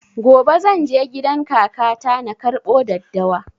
Gobe zan je gidan kaka ta na karɓo daddawa